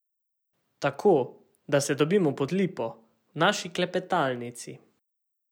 Tako, da se dobimo Pod lipo, v naši klepetalnici.